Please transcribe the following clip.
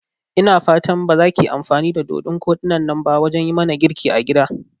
Ina fatan bazakiyi amfani da dodun koɗinnan ba wajan yimana girki a gida?